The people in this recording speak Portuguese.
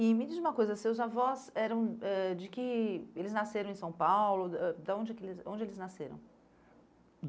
E me diz uma coisa, seus avós, eram eh de que, eles nasceram em São Paulo, ãh da onde é que eles, onde eles nasceram?